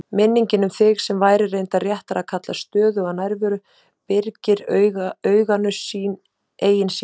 Minningin um þig, sem væri reyndar réttara að kalla stöðuga nærveru, byrgir auganu eigin sýn.